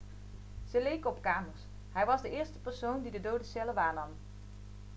ze leken op kamers hij was de eerste persoon die dode cellen waarnam